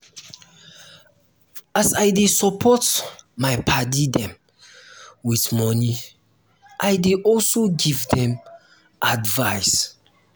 as i dey support my paddy dem wit moni i dey also give dem advice.